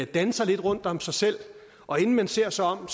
danser lidt rundt om sig selv og inden man ser sig om